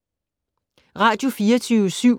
Radio24syv